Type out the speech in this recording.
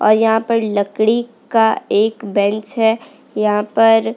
और यहाँ पर लकड़ी का एक बैंच है यहाँ पर --